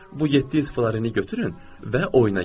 Bu 700 florini götürün və oyuna girin.